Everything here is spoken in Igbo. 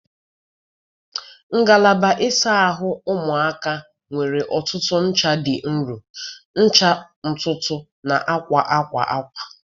Ngalaba ịsa ahụ ụmụaka nwere ọtụtụ ncha dị nro, ncha ntutu na akwa akwa akwa.